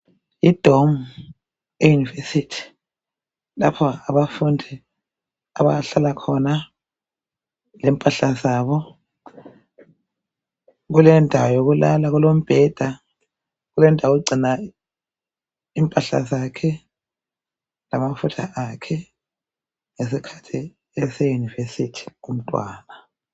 Idomu eyunivesithi lapho abafundi abahlala khona, lempahla zabo. Kulendawo yokulala, kulembheda kulendawo yokugcina impahla zakhe lamafutha akhe ngesikhathi eseyunivesithi umntwana.